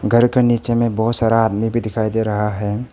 घर का नीचे में बहोत सारा आदमी भी दिखाई दे रहा है।